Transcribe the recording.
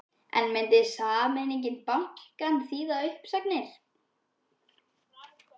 En myndi sameining bankanna þýða uppsagnir?